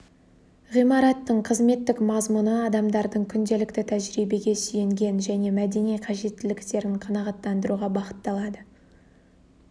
ғимараттың қызметтік мазмұны адамдардың күнделікті тәжірибеге сүйенген және мәдени қажеттіліктерін қанағаттандыруға бағытталады